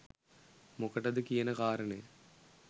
මොකටද කියන කාරණය